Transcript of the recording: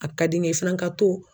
A ka di ne ye i fana ka to